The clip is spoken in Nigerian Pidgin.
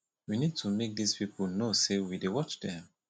we need to make dis people know say we dey watch dem